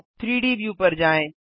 3डी व्यू पर जाएँ